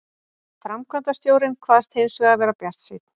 Framkvæmdastjórinn kvaðst hins vegar vera bjartsýnn